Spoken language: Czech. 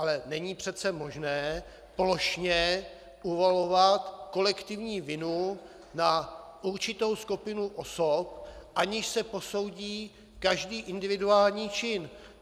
Ale není přece možné plošně uvalovat kolektivní vinu na určitou skupinu osob, aniž se posoudí každý individuální čin.